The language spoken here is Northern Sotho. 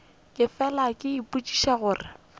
ke fela ke ipotšiša gore